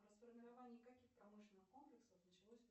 расформирование каких промышленных комплексов началось